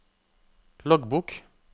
loggbok